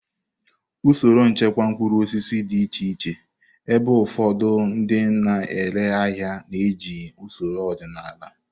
Usoro nchekwa mkpụrụ osisi dị iche iche, ebe ụfọdụ ndị na-ere ahịa na-eji usoro ọdịnala.